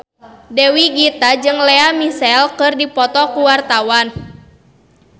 Dewi Gita jeung Lea Michele keur dipoto ku wartawan